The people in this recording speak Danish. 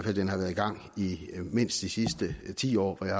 at den har været i gang i mindst de sidste ti år hvor jeg